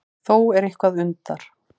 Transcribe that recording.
Þó er eitthvað undar